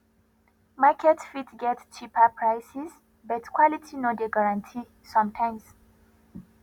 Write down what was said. market fit get cheaper prices but quality no dey guarantee sometimes